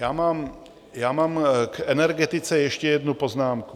Já mám k energetice ještě jednu poznámku.